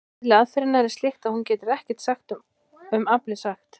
Eðli aðferðarinnar er slíkt að hún getur ekkert um aflið sagt.